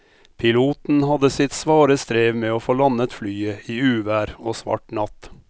Piloten hadde sitt svare strev med å få landet flyet i uvær og svart natt.